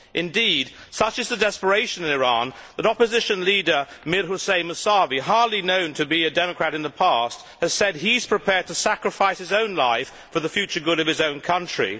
Indeed, such is the desperation in Iran that opposition leader Mir Hossain Musavi, hardly known to be a democrat in the past, has said he is prepared to sacrifice his own life for the future good of his own country.